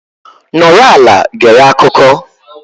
Nọrọ ala gere akụkọ.